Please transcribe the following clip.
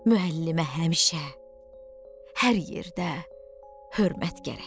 Müəllimə həmişə hər yerdə hörmət gərək.